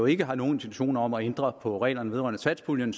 ikke har nogen intentioner om at ændre på reglerne vedrørende satspuljen